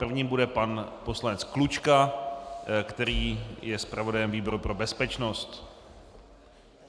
Prvním bude pan poslanec Klučka, který je zpravodajem výboru pro bezpečnost.